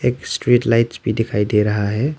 एक street lights भी दिखाई दे रहा है।